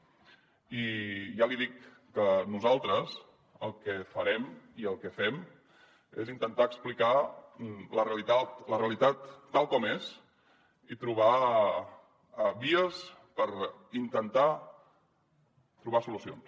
i ja li dic que nosaltres el que farem i el que fem és intentar explicar la realitat tal com és i trobar vies per intentar trobar solucions